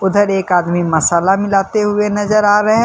उधर एक आदमी मसाला मिलाते हुए नजर आ रहे हैं।